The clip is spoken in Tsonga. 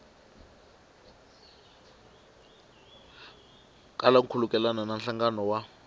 kala nkhulukelano na nhlangano wa